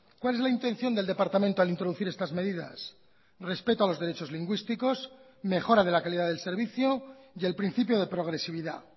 cuál es la intención del departamento al introducir estas medidas respeto a los derechos lingüísticos mejora de la calidad del servicio y el principio de progresividad